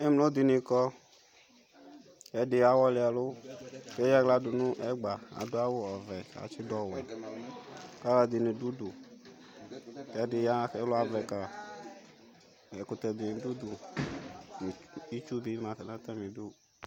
Emlo dɩnɩ kɔ ɛdɩ awɔlɩ ɛlʋ eyaɣla dʋ nʋ ɛgba adʋ awʋ ɔvɛ atsɩdʋ owɛ alʋ ɛdɩnɩ dʋ ʋdʋ ɛdɩ ya ɛlʋ avɛ ka ɛkʋtɛ dɩnɩ dʋ ʋdʋ Ɩtsʋ dɩnɩ ma nʋ atamɩ dʋ